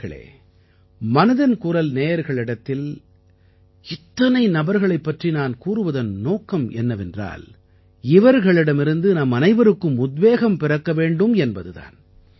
நண்பர்களே மனதின் குரல் நேயர்களிடத்தில் இத்தனை நபர்களைப் பற்றி நான் கூறுவதன் நோக்கம் என்னவென்றால் இவர்களிடமிருந்து நம்மனைவருக்கும் உத்வேகம் பிறக்க வேண்டும் என்பது தான்